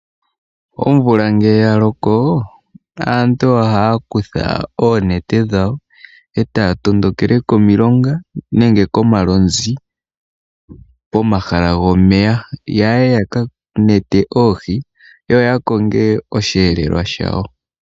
Omvula ngele ya loko aantu ohaya kutha oonete dhawo, etaya tondokele komailonga nenge komalonzi pomahala gomeya. Ohaya yi yaka mete oohi, yo ya ko ge oshiyelelwa shawo.